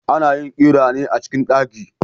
Ana yin ƙira ne a cikin daki